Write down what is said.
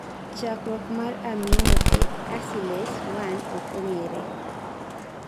chakruoko mar aminoacylase 1 ok ong'ere